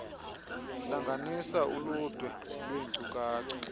hlanganisa uludwe lwenkcukacha